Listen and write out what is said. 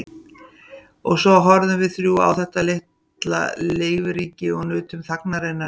Og svo horfðum við þrjú á þetta litla lífríki og nutum þagnarinnar um stund.